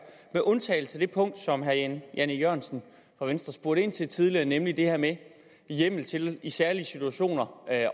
med undtagelse af det punkt som herre jan e jørgensen fra venstre spurgte ind til tidligere nemlig det her med hjemmel til i særlige situationer at